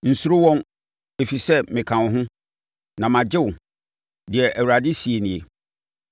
Nsuro wɔn, ɛfiri sɛ meka wo ho, na magye wo,” deɛ Awurade seɛ nie.